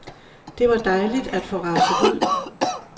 Det var dejligt at få raset ud.